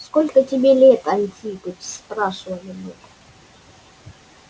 сколько тебе лет антипыч спрашивали мы